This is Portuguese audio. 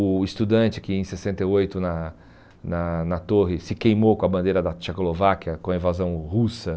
O estudante que em sessenta e oito na na na torre se queimou com a bandeira da Tchecolováquia com a invasão russa.